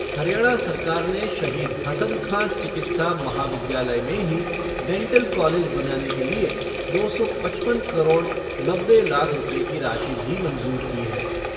हरियाणा सरकार ने शहीद हसन खां चिकित्सा महाविद्यालय में ही डैंटल कॉलेज बनाने के लिए दो सौ पचपन करोड़ नब्बे लाख रूपए की राशि भी मंजूर की है।